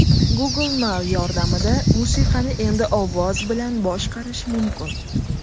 Google Now yordamida musiqani endi ovoz bilan boshqarish mumkin.